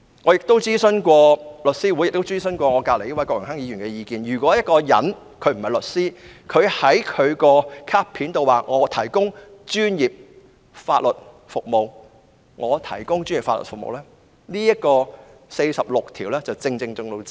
"我曾徵詢香港律師會及身旁的郭榮鏗議員的意見，任何人不是律師而在其卡片上表明可以"提供專業法律服務"，已經觸犯《法律執業者條例》第46條。